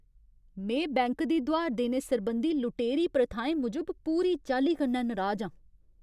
में बैंक दी दुहार देने सरबंधी लुटेरी प्रथाएं मूजब पूरी चाल्ली कन्नै नराज आं।